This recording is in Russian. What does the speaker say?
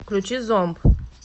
включи зомб